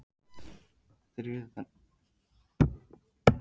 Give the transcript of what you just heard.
Þiðrandi, hvernig er veðrið á morgun?